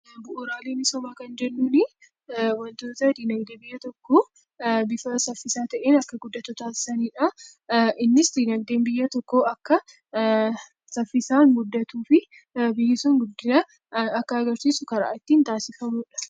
Bu'uuraalee misoomaa kan jennuuni wantoota dinagdee biyya tokkoo bifa saffisaa ta'een akka guddatu taasisanidha. Innis dinagdeen biyya tokkoo akka saffisaan guddatuu fi biyyi sun guddinaaf akka agarsiisu karaa ittiin taasifamudha.